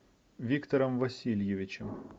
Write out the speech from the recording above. виктором васильевичем